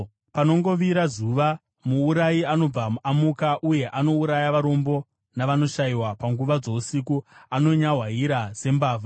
Panongovira zuva, muurayi anobva amuka, uye anouraya varombo navanoshayiwa; panguva dzousiku anonyahwaira sembavha.